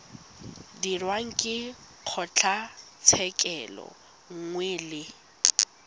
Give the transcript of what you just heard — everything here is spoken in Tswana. dirwang ke kgotlatshekelo nngwe le